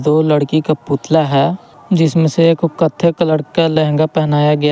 दो लड़की का पुतला है जिसमें से एक को कत्थे कलर का लहंगा पहनाया गया--